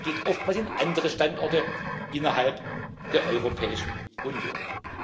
Es geht oftmals in andere Standorte innerhalb der Europäischen Union.